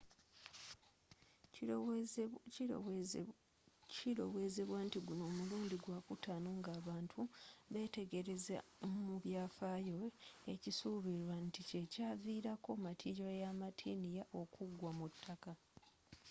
kilowezebwa nti guno mulundi gwa kutano ng'abantu betegelezza mu byafayo ekisubilwa ntikyekyavilako matiliyo ya martian okuggwa ku taka